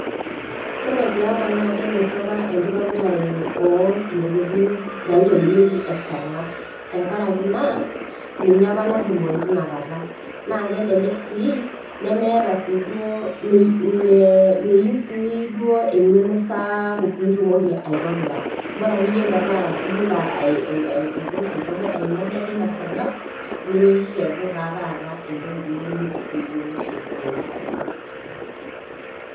ore tiapa naa kenyori apa enkitobirare ontokitin naaitobirieki esargam, tenkaraki naa ninye apa natumoyu teina kata. naa kelelek sii nemeeta siiduo, meyeiu siiduo engeno saapuk pee itumoki aitobira. bora akeyie metaa iyiolo aitobira ai model ina sargam nishetu taa taata entoki niyieu nishetunye ina sargab.